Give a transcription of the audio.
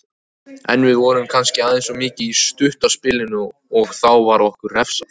En við vorum kannski aðeins of mikið í stutta spilinu og þá var okkur refsað.